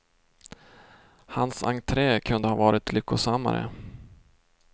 Hans entré kunde ha varit lyckosammare.